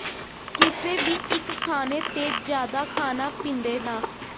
ਕਿਸੇ ਵੀ ਇੱਕ ਖਾਣੇ ਤੇ ਜ਼ਿਆਦਾ ਖਾਣਾ ਪੀਂਦੇ ਨਾ